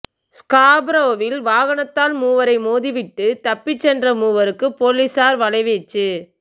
ஸ்காபரோவில் வாகனத்தால் மூவரை மோதிவிட்டு தப்பிச் சென்ற மூவருக்கு பொலிஸார் வலைவீச்சு